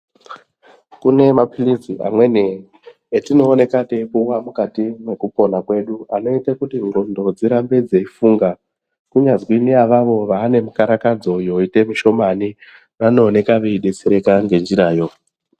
Kune maphirizi amweni atinooneka teipuwa mukati mwekupona kwedu anoita kuti ndxondo dzirambe dzeifunga. Kunyazi naavavo vane mikarakadzo yoita mishomani vanooneka veibetsereka ngenzirayo.